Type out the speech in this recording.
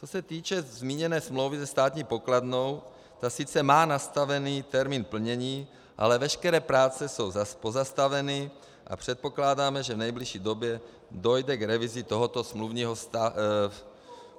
Co se týče zmíněné smlouvy se státní pokladnou, ta sice má nastavený termín plnění, ale veškeré práce jsou pozastaveny a předpokládáme, že v nejbližší době dojde k revizi tohoto smluvního vztahu.